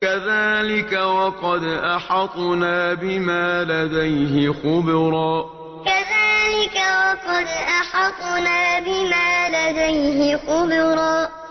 كَذَٰلِكَ وَقَدْ أَحَطْنَا بِمَا لَدَيْهِ خُبْرًا كَذَٰلِكَ وَقَدْ أَحَطْنَا بِمَا لَدَيْهِ خُبْرًا